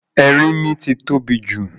Erínmí ti tóbi jù